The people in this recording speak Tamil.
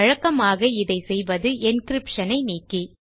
வழக்கமாக இதை செய்வது என்கிரிப்ஷன் ஐ நீக்கி